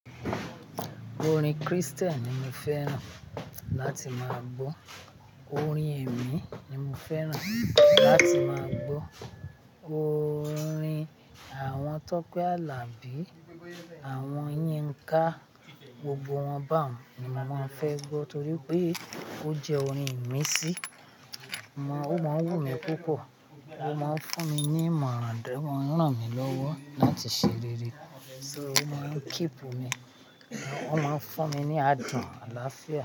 Orin Christian ni mo fẹ́ràn láti máa gbọ́. Orin ẹ̀mí ni mo fẹ́ràn láti máa gbọ́. Orin àwọn Tọ́pẹ́ Àlàbí, àwọn Yínká, gbogbo wọn ba un. Ni mo máa ń fẹ́ gbọ́ torí pé ó jẹ́ orin ìmísí. Ehn, ó máa ń wù mí púpọ̀, ó máa ń fún mi ní ìmọ̀ran, then o maa n ràn mí lọ́wọ́ láti ṣe rere. Though, ó máa ń keepu mi, ó máa ń fún mi ní adùn àlàáfíà.